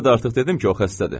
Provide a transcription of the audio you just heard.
Sizə də artıq dedim ki, o xəstədir.